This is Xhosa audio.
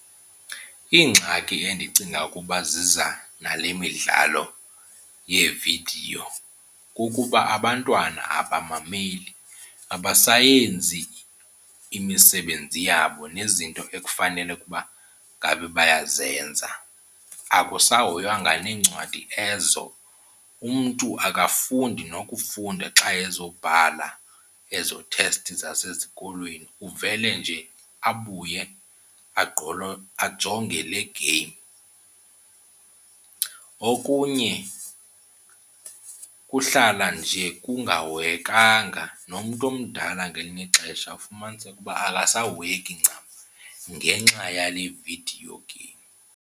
Iingxaki endicinga ukuba ziza nale midlalo yeevidiyo kukuba abantwana abamameli, abasayenzi imisebenzi yabo nezinto ekufanele ukuba ngabe bayazenza. Akusahoywanga neencwadi ezo, umntu akasafundi nokufunda xa ezobhala ezo thesti zasesikolweni uvele nje abuye ajonge le game. Okunye kuhlala nje kungahoyekanga, nomntu omdala ngelinye ixesha ufumaniseke uba akasahoyeki ncam ngenxa yale vidiyo game.